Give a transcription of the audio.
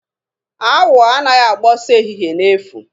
Awọ anaghị agba ọsọ ehihe n'efu.